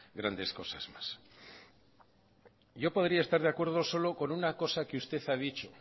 grandes cosas más yo podría estar de acuerdo solo con una cosa que usted ha dicho